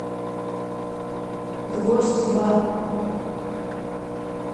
гвоздь два